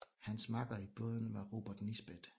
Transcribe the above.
Hans makker i båden var Robert Nisbet